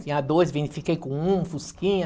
Tinha dois, fiquei com um, fusquinha.